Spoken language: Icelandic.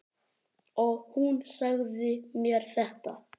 Og hún sagði mér þetta.